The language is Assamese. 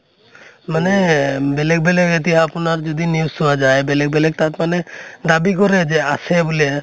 মানে বেলেগ বেলেগ এতিয়া আপোনাৰ যদি news চোৱা যায়, বেলেগ বেলেগ তাত মানে দাবী কৰে যে আছে বুলে